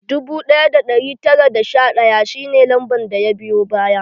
Dubu ɗaya da ɗari tara da sha ɗaya shi ne lamban da ya biyo baya